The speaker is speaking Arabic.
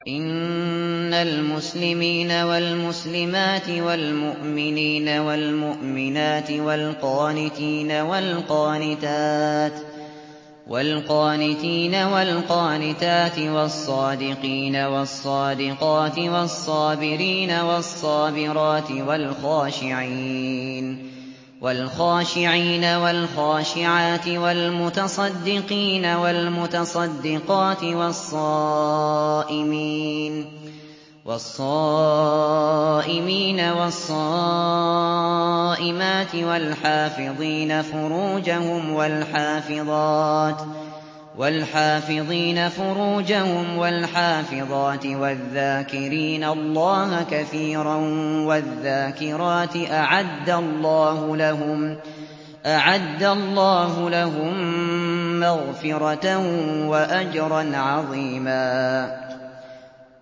إِنَّ الْمُسْلِمِينَ وَالْمُسْلِمَاتِ وَالْمُؤْمِنِينَ وَالْمُؤْمِنَاتِ وَالْقَانِتِينَ وَالْقَانِتَاتِ وَالصَّادِقِينَ وَالصَّادِقَاتِ وَالصَّابِرِينَ وَالصَّابِرَاتِ وَالْخَاشِعِينَ وَالْخَاشِعَاتِ وَالْمُتَصَدِّقِينَ وَالْمُتَصَدِّقَاتِ وَالصَّائِمِينَ وَالصَّائِمَاتِ وَالْحَافِظِينَ فُرُوجَهُمْ وَالْحَافِظَاتِ وَالذَّاكِرِينَ اللَّهَ كَثِيرًا وَالذَّاكِرَاتِ أَعَدَّ اللَّهُ لَهُم مَّغْفِرَةً وَأَجْرًا عَظِيمًا